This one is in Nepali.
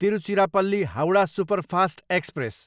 Tiruchirappalli, Howrah superfast express